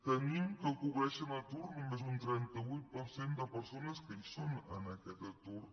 tenim que cobren atur només un trenta vuit per cent de persones que hi són en aquest atur